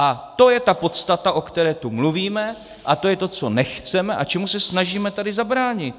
A to je ta podstata, o které tu mluvíme, a to je to, co nechceme a čemu se snažíme tady zabránit.